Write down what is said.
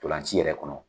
Ntolan ci yɛrɛ kɔnɔ